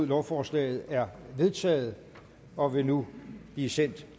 lovforslaget er vedtaget og vil nu blive sendt